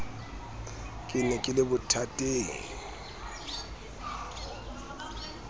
ke ne ke le bothateng